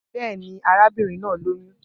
Bẹ́ẹ̀ ni, arábìnrin náà lóyún